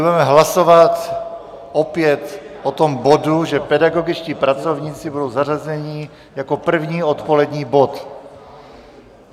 Budeme hlasovat opět o tom bodu, že pedagogičtí pracovníci budou zařazeni jako první odpolední bod.